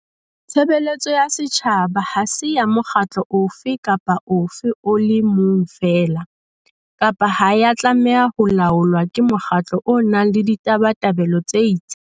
Tshebeletso ya setjhaba ha se ya mokgatlo ofe kapa ofe o le mong feela, kapa ha ya tlameha ho laolwa ke mokgatlo o nang le ditabatabelo tse itseng.